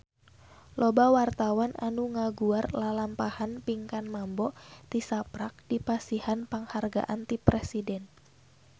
Loba wartawan anu ngaguar lalampahan Pinkan Mambo tisaprak dipasihan panghargaan ti Presiden